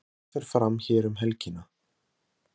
Elísabet Inga Sigurðardóttir: Hvað fer fram hér um helgina?